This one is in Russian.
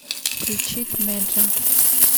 включить меджа